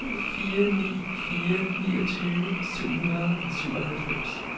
syv fire ni fire niogtyve syv hundrede og syvoghalvfems